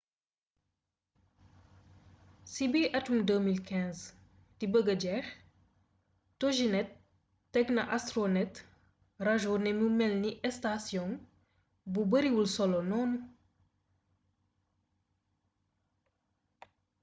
ci bi atum 2015 di bëgga jeex toginet teg na astronet rajo ne mu melni estasiyong bu bariwul solo noonu